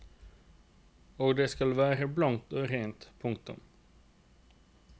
Og det skal være blankt og rent. punktum